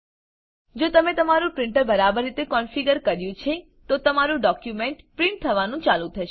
જો તમે તમારું પ્રીંટર બરાબર રીતે કોનફીગર કર્યું છે તો તમારું ડોક્યુંમેંટ પ્રીંટ થવાનું ચાલુ થશે